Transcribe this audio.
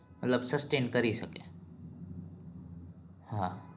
હા મતલબ tension કરી શકે હા